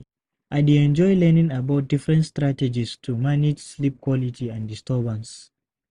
I dey enjoy learning about different strategies to manage sleep quality and disturbances.